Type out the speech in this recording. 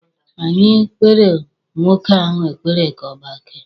Anyị kpeere nwoke ahụ ekpere ka ọ gbakee.